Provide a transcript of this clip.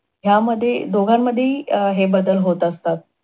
ह्या मध्ये दोघांमध्ये हि अं हे बदल होत असतात.